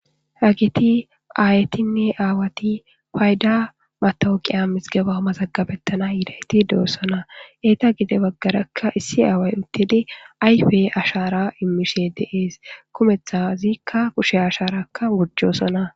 hagiti aayetinne aawati fayda matowoqiya misgeba homazagabettana yiilayti doossona eeta gide baggarakka issi aaway uttidi ayfe ashara immishe deees kumetha ziikka kushe asharakka gujoossona